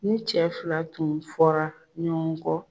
Ni cɛ fila tun fɔra ɲɔgɔn kɔ.